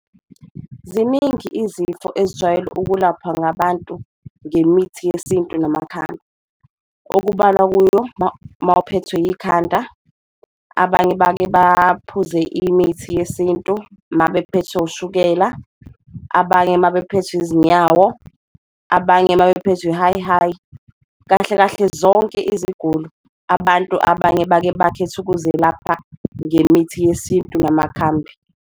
Ziningi izifo ezijwayele ukulaphwa ngabantu ngemithi yesintu namakhambi. Okubalwa kuyo mawuphethwe ikhanda, abanye bake baphuze imithi yesintu mabethwe ushukela, abanye mabephethwe izinyawo abanye mabephethwe i-high-high, kahle kahle zonke iziguli. Abantu abanye bake bakhethe ukuzelapha ngemithi yesintu namakhambi.